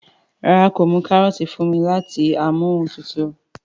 ràrá kò mú karọọti fún mí láti Amóhuntutù